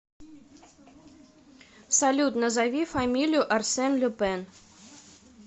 салют назови фамилию арсен люпен